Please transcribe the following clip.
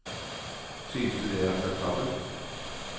Synes du det er akseptabelt?